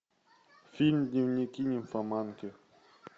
фильм дневники нимфоманки